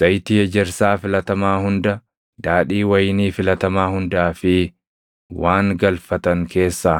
“Zayitii ejersaa filatamaa hunda, daadhii wayinii filatamaa hundaa fi waan galfatan keessaa